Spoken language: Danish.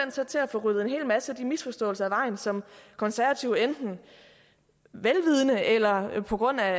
så at få ryddet en hel masse af de misforståelser af vejen som konservative enten velvidende eller på grund af